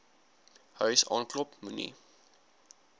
huis aanklop moenie